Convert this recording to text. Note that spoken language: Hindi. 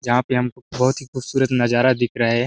जहाँ पे हमको बहुत ही खूबसूरत नज़ारा दिख रही है।